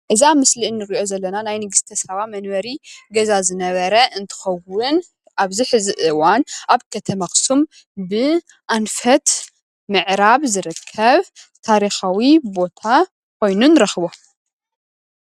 እዚ ኣብ ምስሊ ንሪኦ ዘለና ናይ ንግስተ ሳባ መንበሪ ገዛ ዝነበረ እንትኸውን ኣብዚ ሕዚ እዋን ኣብ ከተማ ኣኽሱም ብኣንፈት ምዕራብ ዝርከብ ታሪኻዊ ቦታ ኾይኑ ንረኽቦ፡፡